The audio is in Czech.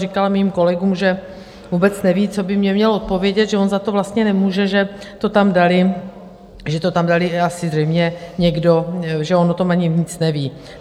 Říkal mým kolegům, že vůbec neví, co by mně měl odpovědět, že on za to vlastně nemůže, že to tam dali, že to tam dal asi zřejmě někdo, že on o tom ani nic neví.